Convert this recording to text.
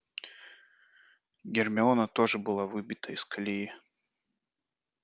гермиона тоже была выбита из колеи